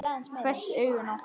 Hvessti augun á hann.